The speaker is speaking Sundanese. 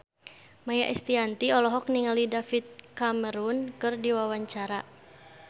Maia Estianty olohok ningali David Cameron keur diwawancara